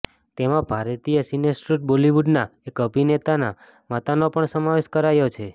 તેમાં ભારતીય સિનેસૃષ્ટ બોલિવૂડના એક અભિનેતાના માતાનો પણ સમાવેશ કરાયો છે